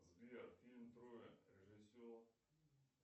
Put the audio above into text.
сбер фильм троя режиссер